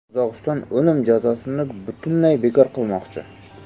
Qozog‘iston o‘lim jazosini butunlay bekor qilmoqchi.